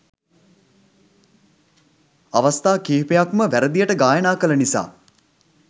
අවස්ථා කීපයක්ම වැරදියට ගායනා කළ නිසා